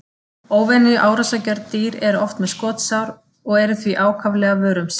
Óvenju árásargjörn dýr eru oft með skotsár og eru því ákaflega vör um sig.